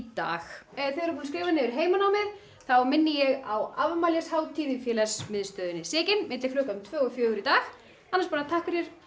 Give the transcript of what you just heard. dag ef þið eruð búin að skrifa niður heimanámið þá minni ég á afmælishátíð í Sigyn milli klukkan tvö og fjögur í dag annars bara takk fyrir